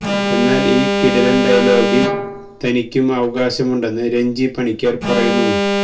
എന്നാല് ഈ കിടിലന് ഡയലോഗില് തനിക്കും അവകാശമുണ്ടെന്ന് രഞ്ജി പണിക്കര് പറയുന്നു